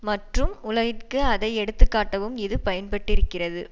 மற்றும் உலகிற்கு அதை எடுத்துக்காட்டவும் இது பயன் பட்டிருக்கிறது